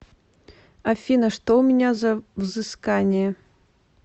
афина что у меня за взыскание